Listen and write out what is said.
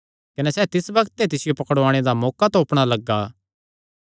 कने सैह़ तिस बग्त ते तिसियो पकड़ुआणे दा मौका तोपणा लग्गा